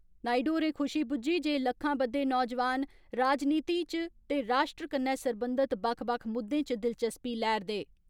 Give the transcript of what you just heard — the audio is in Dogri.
नायडु होरें खुशी बुज्झी जे लक्खां बद्दे नौजोआन, राजनीति च ते राश्ट्र कन्नै सरबंधत बक्ख बक्ख मुद्दे च दिलचस्पी लै'रदे